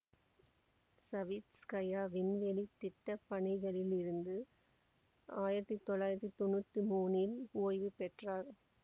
Savitskaya விண்வெளி திட்ட பணிகளில் இருந்து ஆயிரத்தி தொள்ளாயிரத்தி தொன்னூற்தி மூனில் ஓய்வு பெற்றார்